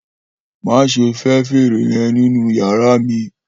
Maṣe fẹ fèrè yẹn ninu yara mi!